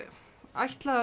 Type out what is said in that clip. ætla